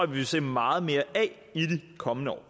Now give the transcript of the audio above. vi vil se meget mere af i de kommende år